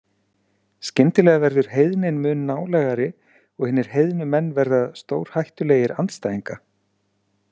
Skyndilega verður heiðnin mun nálægari og hinir heiðnu menn verða stórhættulegir andstæðinga.